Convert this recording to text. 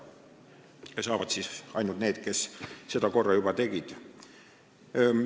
Seda saavad teha ainult need, kes seda korra juba teinud on.